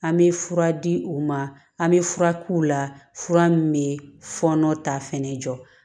An bɛ fura di u ma an bɛ fura k'u la fura min bɛ fɔɔnɔ ta fɛnɛ jɔ